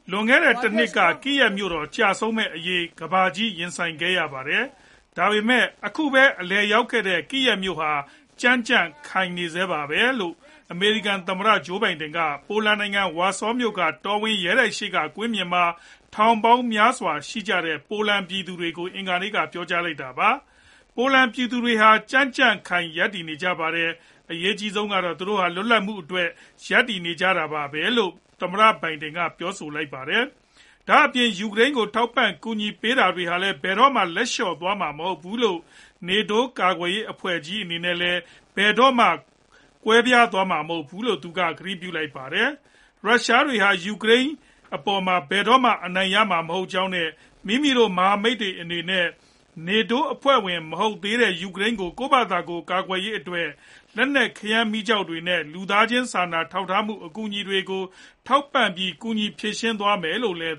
“လွန်ခဲ့တဲ့ ၁ နှစ်က Kyiv မြို့တော် ကျဆုံးမယ့်အရေးနဲ့ ကမ္ဘာကြီးရင်ဆိုင်ခဲ့ရပါတယ်။ ဒါပေမဲ့ အခုပဲအလည်ရောက်ခဲ့တဲ့ Kyiv ဟာ ကြံ့ကြံ့ခံနေဆဲပါပဲ။” လို့ အမေရိကန်သမ္မတ Joe Biden က ပိုလန်နိုင်ငံ၊ ဝါဆောမြို့က တော်ဝင်ရဲတိုက်ရှေ့ကကွင်းပြင်မှာ ထောင်ပေါင်းများစွာရှိကြတဲ့ ပိုလန်ပြည်သူတွေကို အင်္ဂါနေ့က ပြောကြားလိုက်တာပါ။ “ယူကရိန်းပြည်သူတွေဟာ ကြံ့ကြံ့ခိုင် ရပ်တည်နေကြပါတယ်။ အရေးကြီးဆုံးကတော့ သူတို့ဟာ လွတ်လပ်မှုအတွက် ရပ်တည်နေကြတာပါပဲ” လို့လည်း သမ္မတ Biden က ပြောပါတယ်။ ဒါ့ပြင် ယူကရိန်းကို ထောက်ပံ့ကူညီပေးနေတာတွေဟာလည်း ဘယ်တော့မှ လက်လျှော့သွားမှာမဟုတ်ဘူး၊ NATO ကာကွယ်ရေးအဖွဲ့ကြီးအနေနဲ့ ဘယ်တော့မှကွဲသွားမှာမဟုတ်ဘူး-လို့ သူက ကတိပြုပါတယ်။ ရုရှားတွေဟာ ယူကရိန်းအပေါ်မှာ ဘယ်တော့မှအနိုင်ရမှာမဟုတ်ကြောင်းနဲ့ မိမိတို့မဟာမိတ်တွေအနေနဲ့ NATO အဖွဲ့ဝင်မဟုတ်တဲ့ယူကရိန်းကို ကိုယ်ဖာသာကိုယ်ကာကွယ်ရေးအတွက် လက်နက်ခဲယမ်းမီးကျောက်တွေနဲ့ လူသားချင်း စာနာထောက်ထားမှု အကူအညီတွေကို ထောက်ပံ့ပြီး ကူညီဖြေရှင်းသွားမယ်လို့လည်း